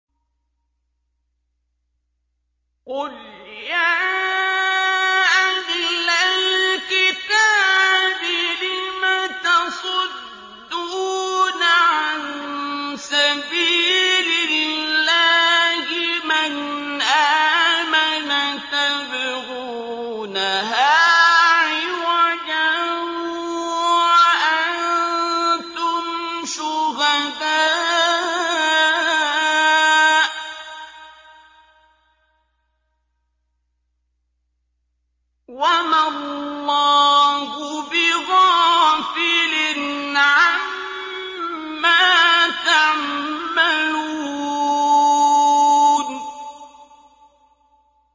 قُلْ يَا أَهْلَ الْكِتَابِ لِمَ تَصُدُّونَ عَن سَبِيلِ اللَّهِ مَنْ آمَنَ تَبْغُونَهَا عِوَجًا وَأَنتُمْ شُهَدَاءُ ۗ وَمَا اللَّهُ بِغَافِلٍ عَمَّا تَعْمَلُونَ